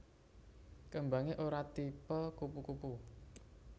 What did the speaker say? Kembangé ora tipe kupu kupu